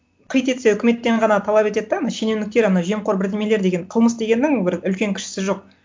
қит етсе үкіметтен ғана талап етеді да анау шенеуніктер ана жемқор бірдемелер деген қылмыс дегеннің бір үлкен кішісі жоқ